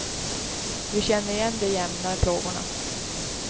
Vi känner igen de jämna plågorna.